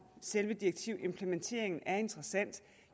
selve direktivimplementeringen er interessant